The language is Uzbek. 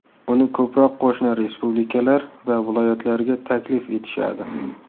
Uni ko‘proq qo‘shni respublikalar va viloyatlarga taklif etishadi.